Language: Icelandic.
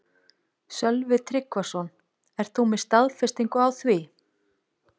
Sölvi Tryggvason: Ert þú með staðfestingu á því?